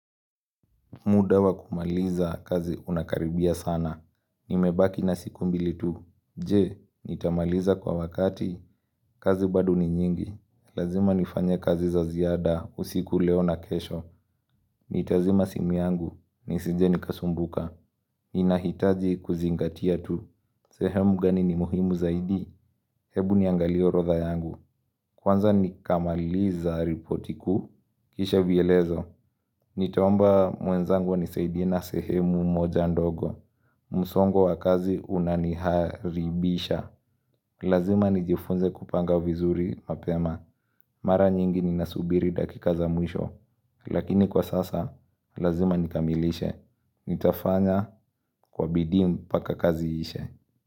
Muda wa kumaliza kazi unakaribia sana. Nimebaki na siku mbili tu. Je, nitamaliza kwa wakati? Kazi bado ni nyingi. Lazima nifanye kazi za ziada. Usiku leo na kesho. Nitazima simu yangu. Nisije nikasumbuka. Ninahitaji kuzingatia tu. Sehemu gani ni muhimu zaidi? Hebu niangalie orodha yangu. Kwanza nikamaliza ripoti kuu Kisha vielezo. Nitaomba mwenzangu anisaidie na sehemu moja ndogo msongo wa kazi unaniharibisha Lazima nijifunze kupanga vizuri mapema Mara nyingi ninasubiri dakika za mwisho Lakini kwa sasa, lazima nikamilishe Nitafanya kwa bidii mpaka kazi iishe.